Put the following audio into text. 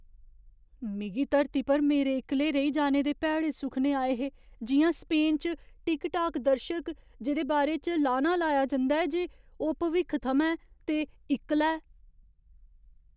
मिगी धरती पर मेरे इक्कले रेही जाने दे भैड़े सुखने आए हे जि'यां स्पेन च टिकटाक दर्शक जेह्‌दे बारे च लाना लाया जंदा ऐ जे ओह् भविक्ख थमां ऐ ते इक्कला ऐ।